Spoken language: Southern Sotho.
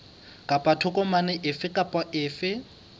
kapa tokomane efe kapa efe